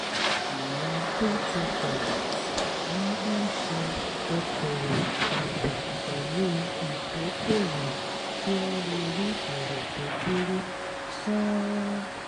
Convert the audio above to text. àwọn tó ti fẹ̀yìn tì máa ń ṣe okòwò pa pọ̀ pẹ̀lú ìdókòwò kí wọ́n lè rí èrè tó dúró sán-ún